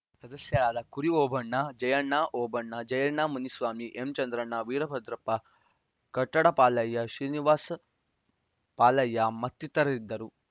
ಸದಸ್ಯರಾದ ಕುರಿಓಬಣ್ಣ ಜಯಣ್ಣ ಓಬಣ್ಣ ಜಯಣ್ಣ ಮುನಿಸ್ವಾಮಿ ಎಂಚಂದ್ರಣ್ಣ ವೀರಭದ್ರಪ್ಪ ಕಟ್ಟಡ ಪಾಲಯ್ಯ ಶ್ರೀನಿವಾಸ್‌ ಪಾಲಯ್ಯ ಮತ್ತಿತರರಿದ್ದರು